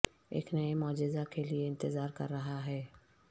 ایک نئے معجزہ کے لئے انتظار کر رہا ہے